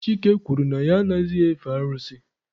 Chike kwuru na ya anaghịzị efe arụsị ya.